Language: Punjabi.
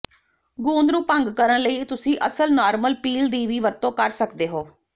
ਗੂੰਦ ਨੂੰ ਭੰਗ ਕਰਨ ਲਈ ਤੁਸੀਂ ਅਸਲ ਨਾਰਮਲ ਪੀਲ ਦੀ ਵੀ ਵਰਤੋਂ ਕਰ ਸਕਦੇ ਹੋ